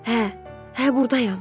Hə, hə burdayam.